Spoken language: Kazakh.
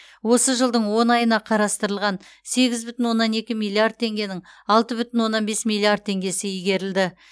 осы жылдың он айына қарастырылған сегіз бүтін оннан екі миллиард теңгенің алты бүтін оннан бес миллиард теңгесі игерілді